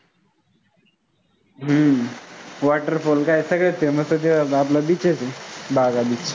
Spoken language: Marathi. हम्म water fall काय सगळ्यांत famous च आहे ते आपलं beach आहे ते वाघा beach